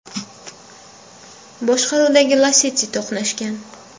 boshqaruvidagi Lacetti to‘qnashgan.